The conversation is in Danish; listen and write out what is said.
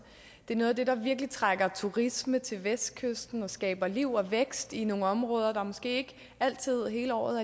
er noget af det der virkelig trækker turisme til vestkysten og skaber liv og vækst i nogle områder hvor der måske ikke altid hele året